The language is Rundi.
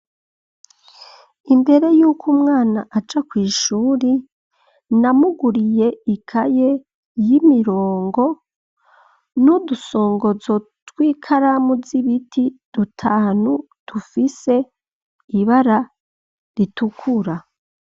Imbere y'uko umwana aja kw'ishuri, namuguriye ikaye y'imirongo; n'udusongozo tw'ikaramu z'ibiti dutanu, dufise ibara ritukura.